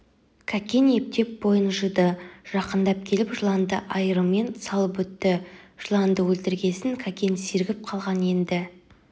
кәкен ептеп бойын жиды жақындап келіп жыланды айырымен салып өтті жыланды өлтіргесін кәкен сергіп қалған енді